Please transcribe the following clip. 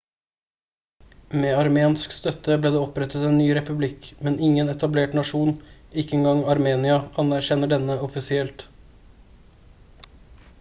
med armensk støtte ble det opprettet en ny republikk men ingen etablert nasjon ikke engang armenia anerkjenner denne offisielt